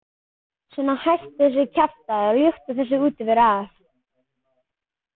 Svona, hættu þessu kjaftæði og ljúktu þessari útiveru af.